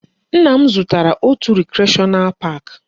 Nna m zụtara òtù recreational park